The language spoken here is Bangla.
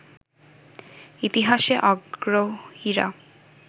ইতিহাসে আগ্রহীরা